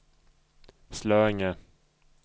Slöinge